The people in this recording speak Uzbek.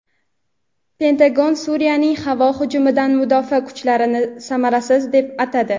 Pentagon Suriyaning havo hujumidan mudofaa kuchlarini samarasiz deb atadi.